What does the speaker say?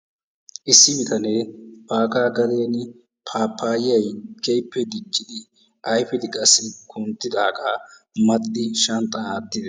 Issi bitane bagaa gaden pappayayyi keehippe diccidi ayfidi qassi kunttidaaga maxxidi shanxxan aattidi...